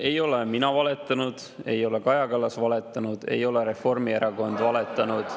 Ei ole mina valetanud, ei ole Kaja Kallas valetanud, ei ole Reformierakond valetanud.